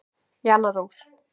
Jana Rós.